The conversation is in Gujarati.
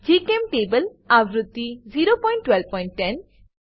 જીચેમ્ટેબલ આવૃત્તિ 01210